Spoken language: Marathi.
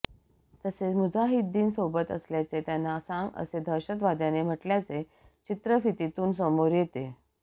तसेच मुजाहिदीन सोबत असल्याचे त्यांना सांग असे दहशतवाद्याने म्हटल्याचे चित्रफितीतून समोर येते